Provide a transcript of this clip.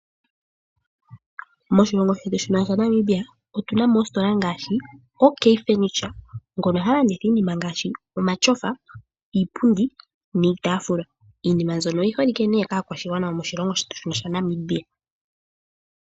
Moshilongo shetu shino shaNamibia otu namo oositola ngaashi OK Furniture ngono ha landitha iinima ngaashi omatyofa, iipundi niitafula. Iinima mbyono oyi holike nee kaakwashigwana yetu yaNamibia.